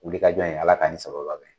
Wuli ka jɔ in Ala ka nin sabababɛn.